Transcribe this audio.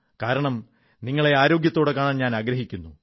കാരണം നിങ്ങളെ ആരോഗ്യത്തോടെ കാണാൻ ഞാനാഗ്രഹിക്കുന്നു